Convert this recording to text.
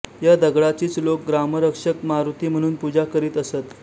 या दगडाचीच लोक ग्रामरक्षक मारुती म्हणून पूजा करीत असत